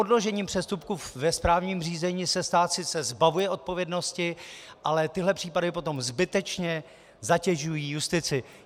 Odložením přestupku ve správním řízení se sice stát zbavuje odpovědnosti, ale tyhle případy potom zbytečně zatěžují justici.